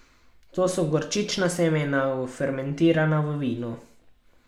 To so gorčična semena, fermentirana v vinu.